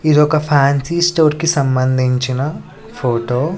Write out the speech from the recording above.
ఇదొక fancy store కి సంభందించిన ఫోటో .